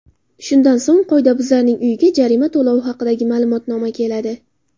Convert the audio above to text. Shundan so‘ng, qoidabuzarning uyiga jarima to‘lovi haqidagi ma’lumotnoma keladi.